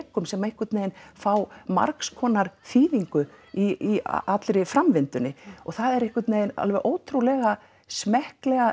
flekum sem einhvern veginn fá margskonar þýðingu í allri framvindunni það er einhvern veginn alveg ótrúlega smekklega